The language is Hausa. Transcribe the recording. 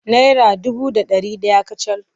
Naira dubu da ɗari ɗaya kacal.